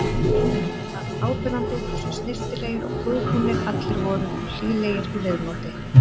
Það var áberandi hversu snyrtilegir og prúðbúnir allir voru og hlýlegir í viðmóti.